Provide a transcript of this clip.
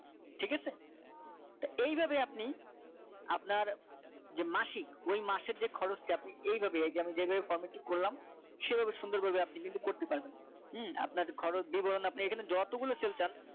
ঠিক আছে তা এইভাবে আপনি আপনার যে মাসিক ওই মাসের যে খরচটা আপনি এইভাবে এই যে আমি যেভাবে formatic করলাম সেভাবে সুন্দর করে আপনি কিন্তু করতে পারেন আপনার খরচ দিব আমি আপনি এখানে যতগুলো cell চান